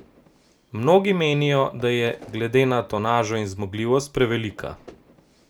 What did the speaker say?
Mnogi menijo, da je glede na tonažo in zmogljivost prevelika.